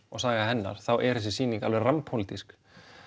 og saga hennar þá er þessi sýning alveg rammpólitísk